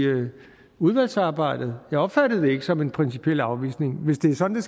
udvalgsarbejdet jeg opfattede det ikke som en principiel afvisning hvis det er sådan